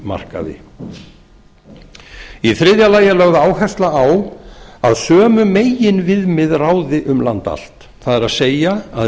markaði í þriðja lagi er lögð áhersla á að sömu meginviðmið ráði um land allt það er að